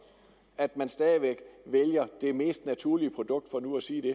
at man stadig væk vælger det mest naturlige produkt for nu at sige det